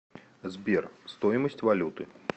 сбер стоимость валюты